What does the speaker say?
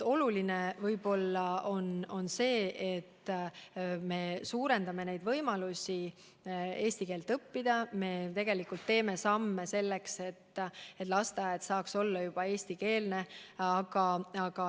Oluline on võib-olla see, et me suurendame võimalusi eesti keelt õppida, me teeme samme selleks, et lasteaed saaks olla eestikeelne.